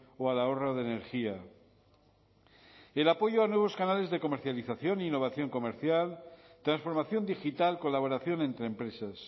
o al ahorro de energía y el apoyo a nuevos canales de comercialización e innovación comercial transformación digital colaboración entre empresas